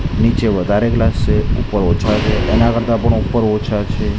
નીચે વધારે ગ્લાસ છે ઉપર ઓછા છે એના કરતા પણ ઉપર ઓછા છે.